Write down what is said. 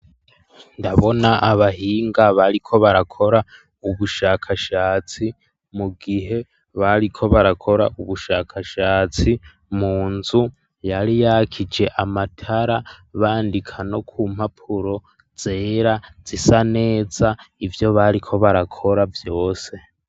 Ndabona abahinga, bariko barakora, ubushakashatsi, mu gihe bariko barakora, ubushakashatsi; mu nzu, yari yakije amatara, bandika no ku mpapuro, zera, zisa neza, ivyo bariko barakora, vyose.